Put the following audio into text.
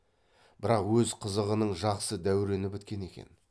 бірақ өз қызығының жақсы дәурені біткен екен